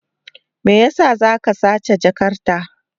Me yasa za ka sace jakarta?